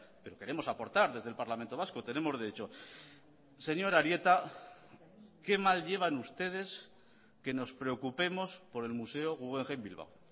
pero queremos aportar desde el parlamento vasco tenemos derecho señor arieta qué mal llevan ustedes que nos preocupemos por el museo guggenheim bilbao